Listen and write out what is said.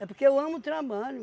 É porque eu amo o trabalho.